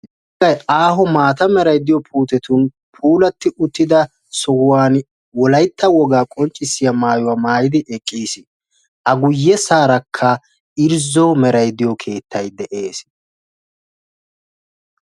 Aaho maata merayi diyo puutetun puulatti uttida sohuwan wolaytta wogaa qonccissiya maayuwa maayidi eqqis. A guyyessaarakka irzzo merayi diyo keettayi de"es.